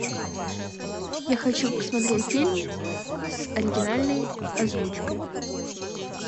я хочу посмотреть фильм с оригинальной озвучкой